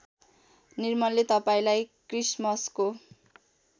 निर्मलले तपाईँलाई क्रिसमसको